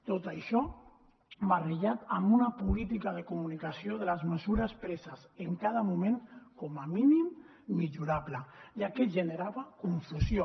tot això barrejat amb una política de comunicació de les mesures preses en cada moment com a mínim millorable ja que generava confusió